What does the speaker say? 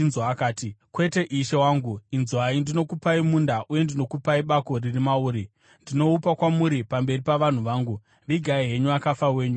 akati, “Kwete, ishe wangu. Inzwai; ndinokupai munda, uye ndinokupai bako riri mauri. Ndinoupa kwamuri pamberi pavanhu vangu. Vigai henyu akafa wenyu.”